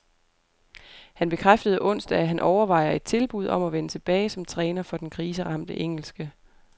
Han bekræftede onsdag, at han overvejer et tilbud om at vende tilbage som træner for den kriseramte engelske